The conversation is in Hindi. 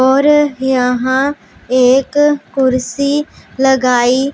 और यहां एक कुर्सी लगाई--